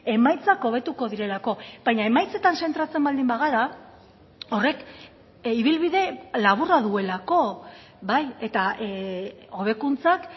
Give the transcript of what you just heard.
emaitzak hobetuko direlako baina emaitzetan zentratzen baldin bagara horrek ibilbide laburra duelako bai eta hobekuntzak